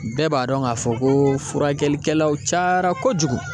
Bɛɛ b'a dɔn k'a fɔ ko furakɛlikɛlaw cayara kojugu